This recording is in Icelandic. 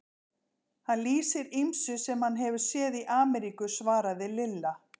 Hann lýsir ýmsu sem hann hefur séð í Ameríku svaraði Lilla.